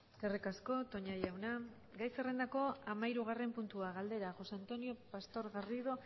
eskerrik asko toña jauna gai zerrendako hamahirugarren puntua galdera josé antonio pastor garrido